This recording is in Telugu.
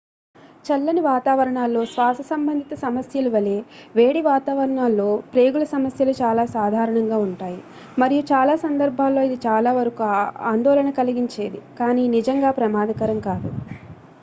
చల్లని వాతావరణాల్లో శ్వాస సంబంధిత సమస్యలు వలె వేడి వాతావరణాల్లో ప్రేగు ల సమస్యలు చాలా సాధారణంగా ఉంటాయి మరియు చాలా సందర్భాల్లో ఇది చాలా వరకు ఆందోళన కలిగించేది కానీ నిజంగా ప్రమాదకరం కాదు